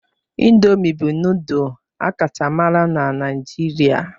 Indomi bụ nudul a kacha mara na Naijiria.